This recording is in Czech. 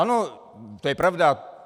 Ano, to je pravda.